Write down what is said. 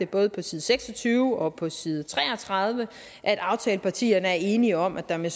både på side seks og tyve og på side tre og tredive at aftalepartierne er enige om at der med